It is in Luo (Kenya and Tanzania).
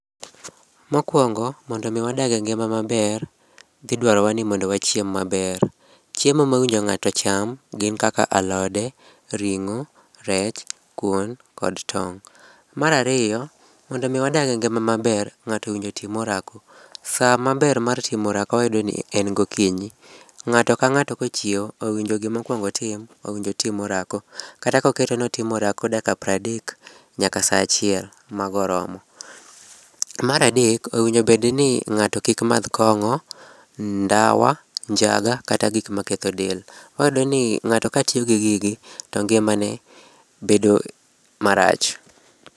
Mokuongo mondo mi wadag engima maber, idwarowa ni mondo wachiem maber. Chiemo mowin jore ng'ato ocham gin chiemo machalo kaka alode, ring'o, rech, ring'o kuon kod tong'. Mar ariyo mondo mi wadag engima maber ng'ato owinjo otim orako. Saa maber mar timo orako wayudo ni en gokinyi. Ng'ato ka ng'ato kochiew owinjo gima onego okuong otim en orako. Kata koketo ni otimo orako mar dakika piero adek nyaka saa achiel, mago oromo. Mar adek owinjo bedni ng'ato kik madh kong'o, ndawa, njaga gin gik maketho. Iyudo ka ng'ato katiyo gi gigi, to ngimaneni marach.